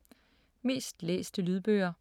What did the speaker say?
Mest læste lydbøger